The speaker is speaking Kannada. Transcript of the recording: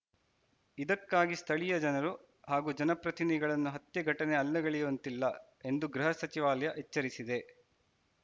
ಇದಕ್ಕಾಗಿ ಸ್ಥಳೀಯ ಜನರು ಹಾಗೂ ಜನಪ್ರತಿನಿಗಳನ್ನ ಹತ್ಯೆ ಘಟನೆ ಅಲ್ಲಗೆಳೆಯುವಂತಿಲ್ಲ ಎಂದು ಗೃಹ ಸಚಿವಾಲಯ ಎಚ್ಚರಿಸಿದೆ